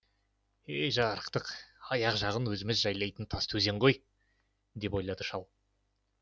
жарықтық аяқ жағын өзіміз жайлайтын тастыөзен ғой деп ойлады шал